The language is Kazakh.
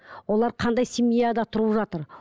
олар қандай семьяда тұрып жатыр